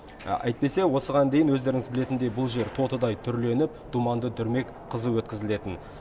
әйтпесе осыған дейін өздеріңіз білетіндей бұл жер тотыдай түрленіп думанды дүрмек қызу өткізілетін